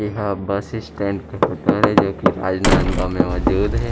एहा bus stand के हटर हे जो की राजनंदगांव मे मौजूद हे।